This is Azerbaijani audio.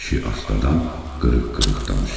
Kişi astadan, qırıq-qırıq danışdı.